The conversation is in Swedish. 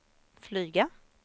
flyga